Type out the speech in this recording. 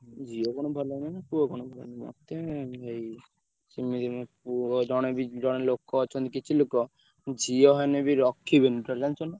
ଝିଅ କଣ ଭଲ ନହିଁ ନା ପୁଅ କଣ ମତେ ସେମିତି ନାହିଁ ଭାଇ ଜଣେ ଲୋକ ଅଛନ୍ତି କିଛି ଲୋକ ଝିଅ ହେଲେ ବି ରଖିବେନି totally ଜାଣିଛ ନା?